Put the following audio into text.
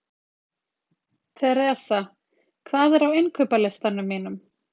Theresa, hvað er á innkaupalistanum mínum?